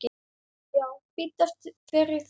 Já, biddu fyrir þér.